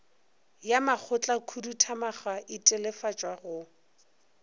ya makgotlakhuduthamaga e telefatswa go